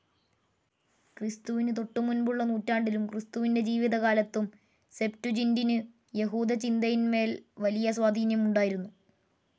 ക്രിസ്തുവിനു തൊട്ടുമുൻപുള്ള നൂറ്റാണ്ടിലും ക്രിസ്തുവിൻ്റെ ജീവിതകാലത്തും, സെപ്റ്റുജിൻ്റിനു, യഹൂദചിന്തയിന്മേൽ വലിയ സ്വാധീനം ഉണ്ടായിരുന്നു.